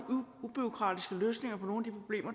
ubureaukratiske løsninger på nogle